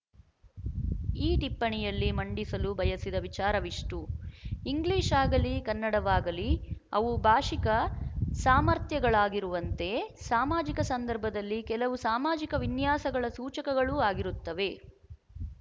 ಈ ಟಿಪ್ಪಣಿಯಲ್ಲಿ ಮಂಡಿಸಲು ಬಯಸಿದ ವಿಚಾರವಿಷ್ಟು ಇಂಗ್ಲಿಶಾಗಲೀ ಕನ್ನಡವಾಗಲೀ ಅವು ಭಾಶಿಕ ಸಾಮರ್ಥ್ಯಗಳಾಗಿರುವಂತೆ ಸಾಮಾಜಿಕ ಸಂದರ್ಭದಲ್ಲಿ ಕೆಲವು ಸಾಮಾಜಿಕ ವಿನ್ಯಾಸಗಳ ಸೂಚಕಗಳೂ ಆಗಿರುತ್ತವೆ